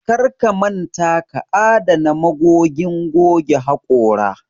Karka manta ka adana magogin goge haƙora